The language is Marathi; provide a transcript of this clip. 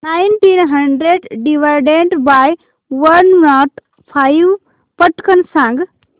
nineteen hundred divided by one not five पटकन सांग